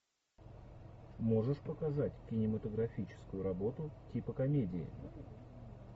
можешь показать кинематографическую работу типа комедии